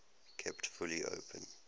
kept fully open